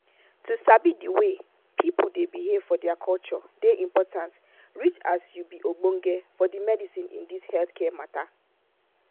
to sabi di way people dey behave for their culture dey important reach as you be ogbonge for the medicine in this healthcare matta